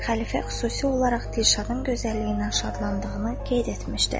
Xəlifə xüsusi olaraq Dilşadın gözəlliyindən şadlandığını qeyd etmişdi.